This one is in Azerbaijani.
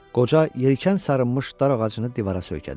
Qoca yelkən sarınmış dar ağacını divara söykədi.